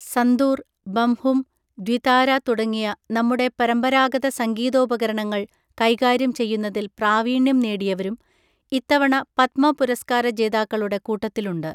സന്തൂർ, ബംഹും, ദ്വിതാര തുടങ്ങിയ നമ്മുടെ പരമ്പരാഗത സംഗീതോപകരണങ്ങൾ കൈകാര്യം ചെയ്യുന്നതിൽ പ്രാവീണ്യം നേടിയവരും ഇത്തവണ പത്മ പുരസ്കാര ജേതാക്കളുടെ കൂട്ടത്തിലുണ്ട്.